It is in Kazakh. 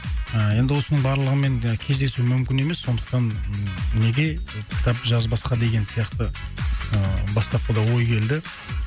ыыы енді осының барлығымен кездесу мүмкін емес сондықтан неге кітапты жазбасқа деген сияқты ыыы бастапқыда ой келді